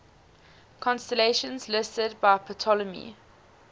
constellations listed by ptolemy